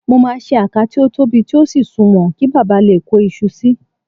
Mo máa ṣe àká tí ó tóbi tí ó sì sùnwọ̀n, kí baba lè kó iṣu sí i